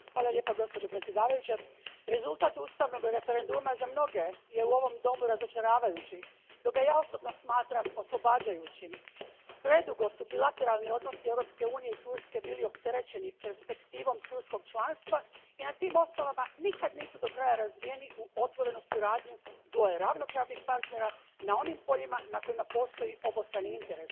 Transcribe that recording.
Gospođo predsjednice, rezultat ustavnog referenduma za mnoge je u ovom domu razočaravajući, dok ga ja osobno smatram oslobađajućim. Predugo su bilateralni odnosi Europske unije i Turske bili opterećeni perspektivom turskog članstva i na tim osnovama nikad nisu do kraja razvijeni u otvorenu suradnju dvoje ravnopravnih partnera na onim poljima na kojima postoji obostrani interes.